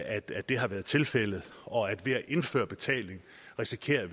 det har været tilfældet og at vi jo ved at indføre betaling risikerer